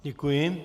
Děkuji.